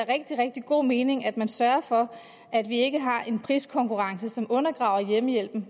rigtig rigtig god mening at man sørger for at vi ikke har en priskonkurrence som undergraver hjemmehjælpen